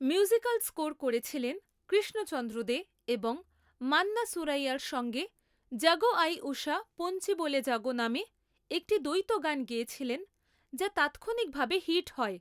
Musical score করেছিলেন কৃষ্ণচন্দ্র দে এবং মান্না সুরাইয়ার সঙ্গে ‘জাগো আয়ি উষা পোঞ্চি বোলে জাগো’ নামে একটি দ্বৈত গান গেয়েছিলেন যা তাৎক্ষণিকভাবে হিট হয়।